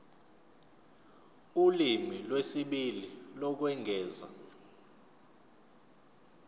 ulimi lwesibili lokwengeza